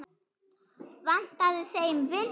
Vantaði þeim vinnu?